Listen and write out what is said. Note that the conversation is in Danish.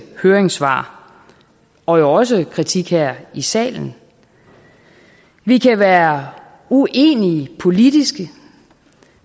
høringssvar og jo også kritik her i salen vi kan være uenige politisk